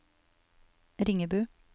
Ringebu